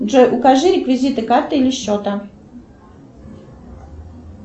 джой укажи реквизиты карты или счета